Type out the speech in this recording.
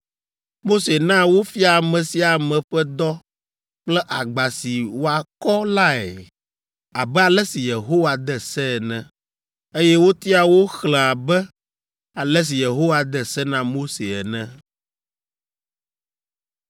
Mose na wofia ame sia ame ƒe dɔ kple agba si wòakɔ lae, abe ale si Yehowa de se ene. Eye wotia wo xlẽ abe ale si Yehowa de se na Mose ene.